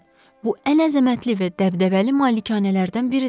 Bu ən əzəmətli və dəbdəbəli malikanələrdən biridir.